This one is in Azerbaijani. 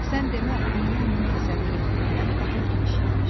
Sən demə, dünya onun təsəvvür etdiyindən daha geniş imiş.